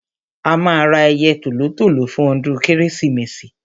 a máa ra ẹyẹ tòlótòló fún ọdún kérésìmesì